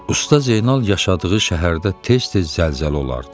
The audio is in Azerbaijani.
Usta Zeynal yaşadığı şəhərdə tez-tez zəlzələ olardı.